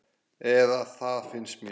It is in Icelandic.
Eða það finnst mér.